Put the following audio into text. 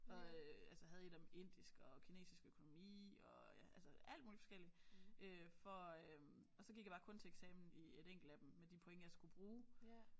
Og øh altså havde et om indisk og kinesisk økonomi og ja altså alt muligt forskelligt øh for øh og så gik jeg bare kun til eksamen i et enkelt af dem med de point jeg skulle bruge